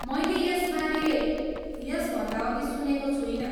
मैले यसबारे यसभन्दा अघि सुनेको छुइनँ।